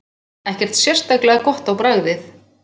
Ekkert sérstaklega gott á bragðið.